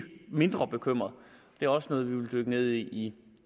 mindre bekymret det er også noget vi vil dykke ned i